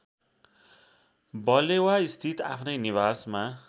बलेवास्थित आफ्नै निवासमा